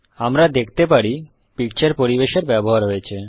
আমরা দেখতে পারি পিকচার পরিবেশ এর ব্যবহার হয়েছে